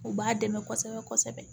U b'a dɛmɛ kosɛbɛ kosɛbɛ